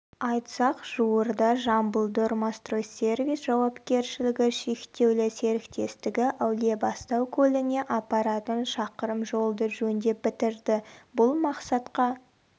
айтсақ жуырда жамбылдормостстройсервис жауапкершілігі шектеулі серіктестігі әулиебастау көліне апаратын шақырым жолды жөндеп бітірді бұл мақсатқа